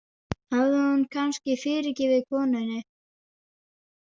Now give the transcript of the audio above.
Hafði hún kannski fyrirgefið konunni?